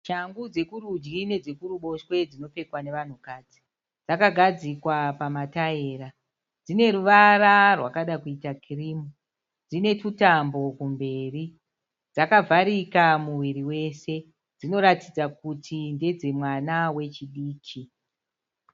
Shangu dzokurudyi nedzekuruboshwe dzinopfekwa navanhukadzi. Dzakagadzikwa pamataira. Dzine ruvara rwakada kuita kirimu. Dzine tutambo kumberi. Dzakavharika muviri wese. Dzinoratidza kuti ndedzemwana wechidiki.